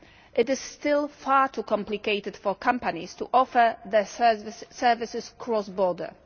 It is still far too complicated for companies to offer their services cross border.